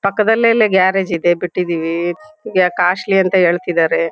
ಪಕ್ದಲ್ಲೆ ಲೆ ಗ್ಯಾರೇಜ್ ಇದೆ ಬಿಟ್ಟಿದ್ದೀವಿ ಕಾಶ್ಲಿ ಅಂತ್ ಹೇಳ್ತಿದಾರೆ --